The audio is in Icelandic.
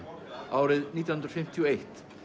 árið nítján hundruð fimmtíu og eitt